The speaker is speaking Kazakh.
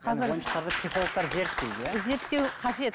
қазір ойыншықтарды психологтар зерттейді иә зерттеуі қажет